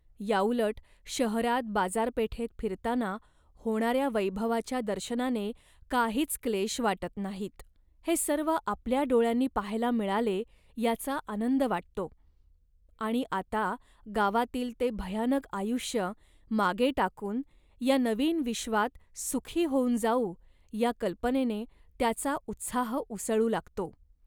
याउलट शहरात बाजारपेठेत फिरताना होणाऱ्या वैभवाच्या दर्शनाने काहीच क्लेश वाटत नाहीत. हे सर्व आपल्या डोळ्यांनी पाहायला मिळाले, याचा आनंद वाटतो आणि आता गावातील ते भयानक आयुष्य मागे टाकून या नवीन विश्वात सुखी होऊन जाऊ या कल्पनेने त्याचा उत्साह उसळू लागतो